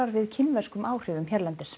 við kínverskum áhrifum hérlendis